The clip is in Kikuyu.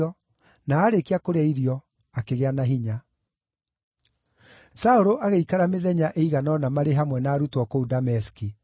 na aarĩkia kũrĩa irio, akĩgĩa na hinya. Saũlũ arĩ Dameski na Jerusalemu Saũlũ agĩikara mĩthenya ĩigana ũna marĩ hamwe na arutwo kũu Dameski.